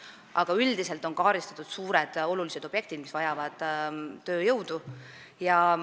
Aga üldiselt on suuri olulisi objekte, mis vajavad tööjõudu, arvestatud.